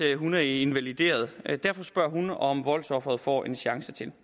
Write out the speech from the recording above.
hun er invalideret derfor spørger hun om voldsofre får en chance til